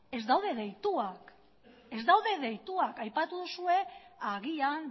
ez daude deituak ez daude deituak aipatu duzue agian